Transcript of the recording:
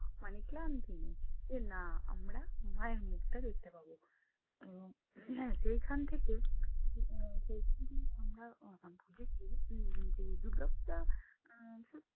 মানে ক্লান্তি নেই যে না আমরা মায়ের মুখটা দেখতে পাবো। এবং যেইখান থেকে যেদিন আমরা আহ বুঝেছি উম যে দুর্গাপূজা আহ